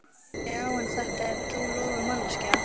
Já en þetta er trúlofuð manneskja.